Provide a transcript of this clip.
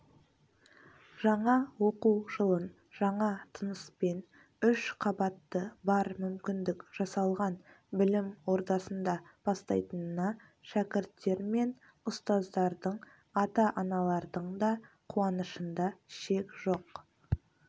жаңа оқу жылын жаңа тыныспен үш қабатты бар мүмкіндік жасалған білім ордасында бастайтынына шәкірттер мен ұстаздардың ата-аналардың да қуанышында шек жоқ